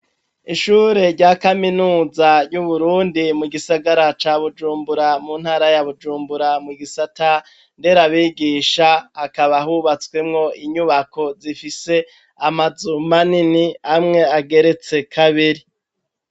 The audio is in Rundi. Ishure rya kaminuza ry'Uburundi, mu gisagara ca Bujumbura, mu ntara ya Bujumbura, mu gisata ndera abigisha akaba ahubatswemwo inyubako zifise amazuma nini amwe ageretse kabiri.